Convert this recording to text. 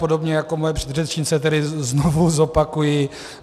Podobně jako moje předřečnice tedy znovu zopakuji.